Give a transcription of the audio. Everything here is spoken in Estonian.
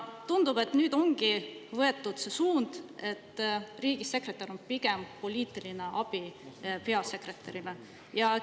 Tundub, et nüüd ongi võetud see suund, et riigisekretär on pigem poliitiline abi.